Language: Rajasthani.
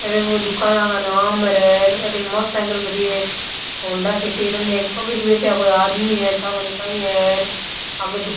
एर दुकान का नाम है रे अठीन मोटरसाइकिल खड़ी है एक हौंडा सिटी एक पगड़ी बैठया एक आदमी है ठा कोनी काई है अर आगे दुकान --